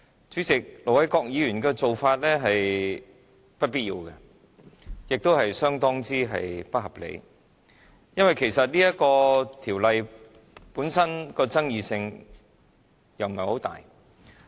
主席，盧偉國議員的做法是不必要，也是相當不合理的，因為其實這項修訂規則本身的爭議性不大。